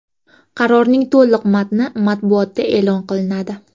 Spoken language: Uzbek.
Qarorning to‘liq matni matbuotda e’lon qilinadi.